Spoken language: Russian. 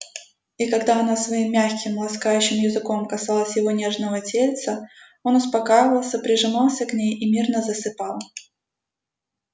и когда она своим мягким ласкающим языком касалась его нежного тельца он успокаивался прижимался к ней и мирно засыпал